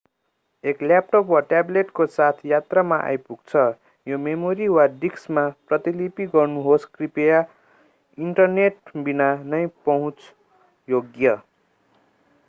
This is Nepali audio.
एक ल्याटप वा ट्याब्लेटको साथ यात्रामा आइपुग्छ यो मेमोरी वा डिस्कमा प्रतिलिपि गर्नुहोस् कृपया इन्टरनेट बिना नै पहुँच योग्य।